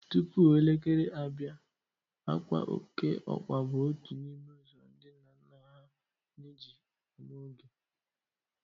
Tupu elekere abịa. àkwà okeọkpa bụ otu n' ime ụzọ ndị nna nna ha anyị ji amaa oge